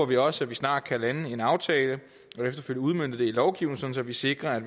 vi også snart kan lande en aftale og efterfølgende udmønte det i lovgivning så vi sikrer at